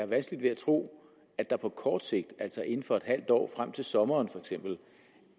vanskeligt ved at tro at der på kort sigt altså inden for et halvt år frem til sommeren feks